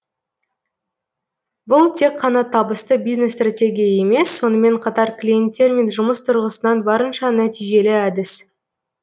бұл тек қана табысты бизнес стратегия емес сонымен қатар клиенттермен жұмыс тұрғысынан барынша нәтижелі әдіс